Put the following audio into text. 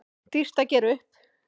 Dýrt að gera upp